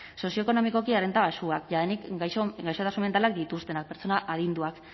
sozioekonomikoki errenta baxuak jadanik gaixotasun mentalak dituztenak pertsona adinduak